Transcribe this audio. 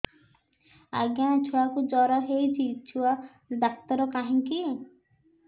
ଆଜ୍ଞା ଛୁଆକୁ ଜର ହେଇଚି ଛୁଆ ଡାକ୍ତର କାହିଁ କି